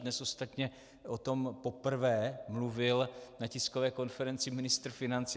Dnes ostatně o tom poprvé mluvil na tiskové konferenci ministr financí.